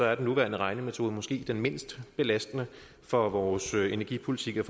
er den nuværende regnemetode måske den mindst belastende for vores energipolitik og